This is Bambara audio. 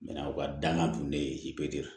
u ka danga dun ne ye